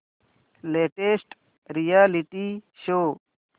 latest reality show